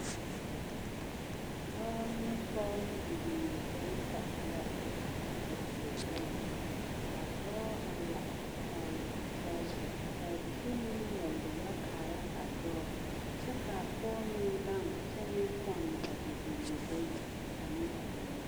Dɔɔ ne pɔge ne bibiiri bata la be a die poɔŋ kaa dɔɔ la tɔgli a pɔge kaa bie meŋ leɛ gbullo kaara a dɔɔ kyɛ kaa pɔge meŋ gaŋ kyɛ meŋ pɔnne a bibiiri bayi ane a o nu.